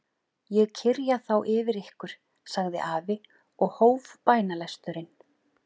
Ég kyrja þá yfir ykkur, sagði afi og hóf bænalesturinn.